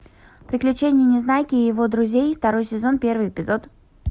приключения незнайки и его друзей второй сезон первый эпизод